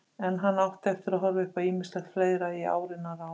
En hann átti eftir að horfa upp á ýmislegt fleira í áranna rás.